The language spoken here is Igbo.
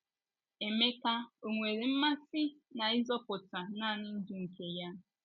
Emeka ò nwere mmasị n’ịzọpụta nanị ndụ nke ya?